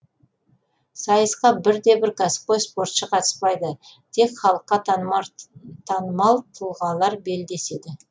сайысқа бірде бір кәсіпқой спортшы қатыспайды тек халыққа танымал тұлғалар белдеседі